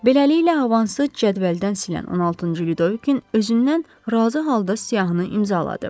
Beləliklə, avansı cədvəldən silən 16-cı Lüdovikin özündən razı halda siyahını imzaladı.